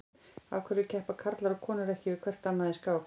Af hverju keppa karlar og konur ekki við hvert annað í skák?